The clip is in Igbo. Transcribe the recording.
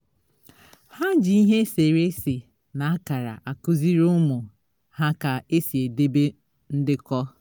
ha ji ihe esere ese na akara akụziri ụmụ ha ka esi edebe ndekọ